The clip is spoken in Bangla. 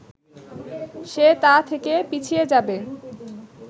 সে তা থেকে পিছিয়ে যাবে